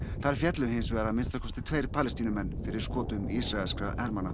þar féllu hins vegar að minnsta kosti tveir Palestínumenn fyrir skotum ísraelskra hermanna